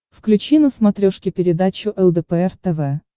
включи на смотрешке передачу лдпр тв